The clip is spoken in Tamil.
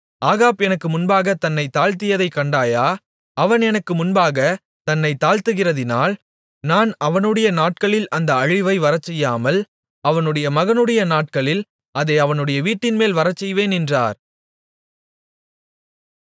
ஆகாப் எனக்கு முன்பாகத் தன்னைத் தாழ்த்தியதைக் கண்டாயா அவன் எனக்கு முன்பாகத் தன்னைத் தாழ்த்துகிறதால் நான் அவனுடைய நாட்களில் அந்த அழிவை வரச்செய்யாமல் அவனுடைய மகனுடைய நாட்களில் அதை அவனுடைய வீட்டின்மேல் வரச்செய்வேன் என்றார்